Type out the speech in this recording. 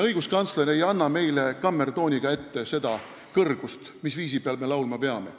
Õiguskantsler ei anna meile kammertooniga ette seda kõrgust, mis viisiga me laulma peame.